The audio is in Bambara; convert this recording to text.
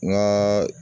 N ka